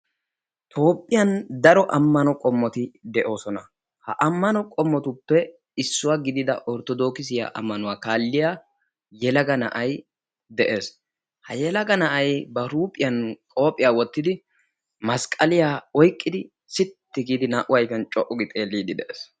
Toophphiyaa daro ammano qomoti de'oosona. ha ammano qommotuppe issuwa gidida orttoodokisiyaa amanuwaa kaalliyaa yelaga na'ay de'ees. ha yelaga na'ay ba huuphphiyaan qoophiyaa wottidi masqqaliyaa oyqqidi sitti gidi naa"u ayfiyaan co"u giidi xeelliidi de'ees.